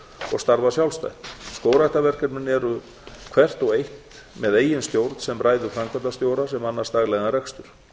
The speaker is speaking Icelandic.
og starfa sjálfstætt skógræktarverkefnin eru hvert og eitt með eigin stjórn sem ræður framkvæmdastjóra sem annast daglegan rekstur